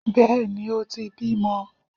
Bẹ́ẹ̀ni, o ti bímọ.